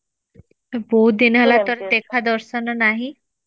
ବହୁତ ଦିନ ହେଲା ତୋର ଦେଖା ଦର୍ଶନ ନାହିଁ